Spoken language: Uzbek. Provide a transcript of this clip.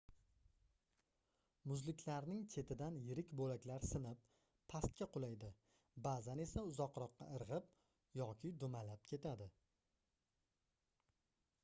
muzliklarning chetidan yirik boʻlaklar sinib pastga qulaydi baʼzan esa uzoqroqqa irgʻib yoki dumalab ketadi